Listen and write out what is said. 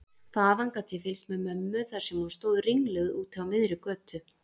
Þaðan gat ég fylgst með mömmu þar sem hún stóð ringluð úti á miðri götu.